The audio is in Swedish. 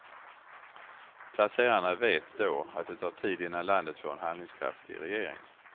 Placerarna vet då att det tar tid innan landet får en handlingskraftig regering.